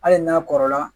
Hali n'a kɔrɔla